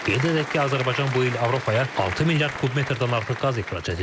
Qeyd edək ki, Azərbaycan bu il Avropaya 6 milyard kubmetrdən artıq qaz ixrac edib.